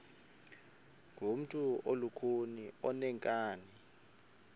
ngumntu olukhuni oneenkani